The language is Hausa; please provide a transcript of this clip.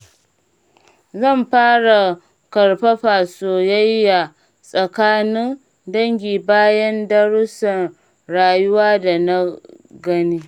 Zan fara ƙarfafa soyayya tsakanin dangi bayan darussan rayuwa da na gani.